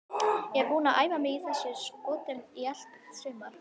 Ég er búinn að æfa mig í þessum skotum í allt sumar.